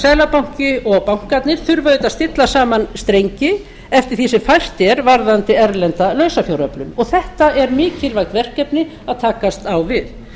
seðlabanki og bankarnir þurfa auðvitað að stilla saman strengi eftir því sem hægt er varðandi erlenda lausafjáröflun og þetta er mikilvægt verkefni að takast á við